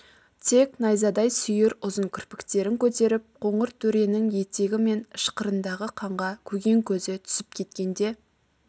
тек найзадай сүйір ұзын кірпіктерін көтеріп қоңыр төренің етегі мен ышқырындағы қанға көген көзі түсіп кеткенде